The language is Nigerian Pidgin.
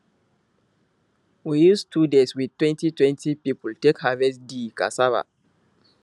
we use two days with twenty twenty people take harvest di cassava